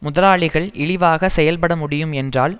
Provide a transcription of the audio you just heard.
முதலாளிகள் இழிவாக செயல்பட முடியும் என்றால்